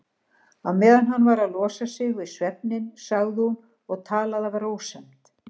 Á meðan hann var að losa sig við svefninn sagði hún og talaði af rósemd